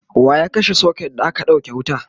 waya kashe socket da aka ɗauke wuta?